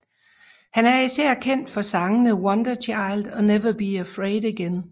Han er især kendt for sangene Wonderchild og Never Be Afraid Again